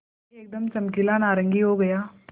पानी एकदम चमकीला नारंगी हो गया